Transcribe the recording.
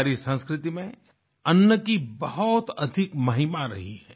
हमारी संस्कृति में अन्न की बहुत अधिक महिमा रही है